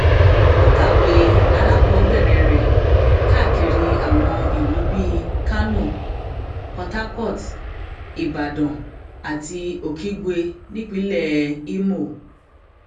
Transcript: ó kàwé alákọọbẹrẹ rẹ káàkiri àwọn ìlú bíi kánó port harcourt ibodàn àti okigwe nípínlẹ ìmọ